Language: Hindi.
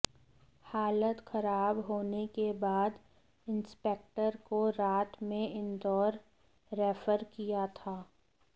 हालत खराब होने के बाद इंस्पेक्टर को रात में इंदौर रेफर किया था